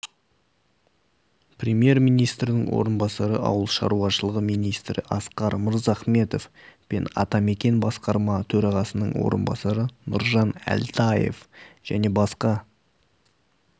премьер-министрдің орынбасары ауыл шаруашылығы министрі асқар мырзахметов пен атамекен басқарма төрағасының орынбасары нұржан әлтаев және басқа